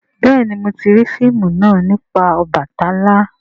béèni mọ ti rii fíìmù náa nipa Obàtálá.